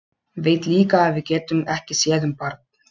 Veit líka að við getum ekki séð um barn.